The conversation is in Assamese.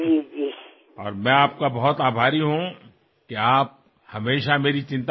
বোধহয় এই বাক্যশাৰী কেৱল শব্দ নহয় আমাৰ বাবে এক আদেশ এক দৰ্শন আৰু এক প্ৰেৰণাৰ দৰে